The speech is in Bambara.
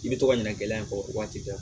I bɛ to ka ɲinagɛlɛn kɔ waati bɛɛ